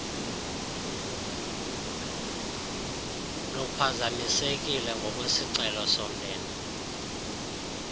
luphazamisekile ngokwesicelo somnini